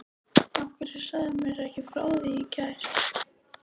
Af hverju sagðirðu mér ekki frá því í gær?